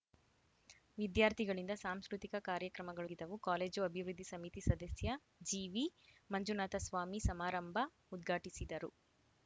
ವಿದ್ಯಾರ್ಥಿಗಳಿಂದ ಸಾಂಸ್ಕೃತಿಕ ಕಾರ್ಯಕ್ರಮಗಳು ಜರುಗಿದವು ಕಾಲೇಜು ಅಭಿವೃದ್ಧಿ ಸಮಿತಿ ಸದಸ್ಯ ಜಿವಿ ಮಂಜುನಾಥಸ್ವಾಮಿ ಸಮಾರಂಭ ಉದ್ಘಾಟಿಸಿದರು